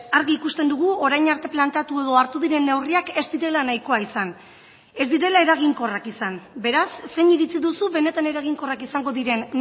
argi ikusten dugu orain arte planteatu edo hartu diren neurriak ez direla nahikoa izan ez direla eraginkorrak izan beraz zein iritzi duzu benetan eraginkorrak izango diren